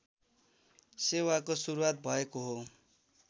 सेवाको सुरुवात भएको हो